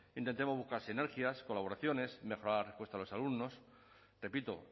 intentemos buscar sinergias colaboraciones mejorar la respuesta a los alumnos repito